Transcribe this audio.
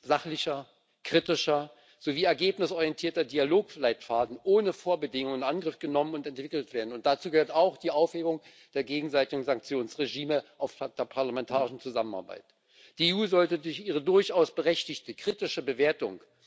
sachlicher, kritischer sowie ergebnisorientierter Dialogleitfaden ohne Vorbedingungen in Angriff genommen und entwickelt werden, und dazu gehört auch die Aufhebung der gegenseitigen Sanktionsregime, die es oft statt der parlamentarischen Zusammenarbeit gibt. Die EU sollte ihre durchaus berechtigte kritische Bewertung